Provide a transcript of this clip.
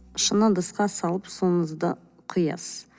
шыны ыдысқа салып суыңызды құясыз